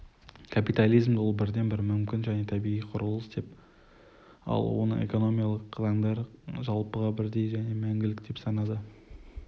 капитализмді ол бірден-бір мүмкін және табиғи құрылыс деп ал оның экономикалық заңдары жалпыға бірдей және мәңгілік деп санады